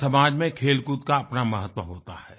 हर समाज में खेलकूद का अपना महत्व होता है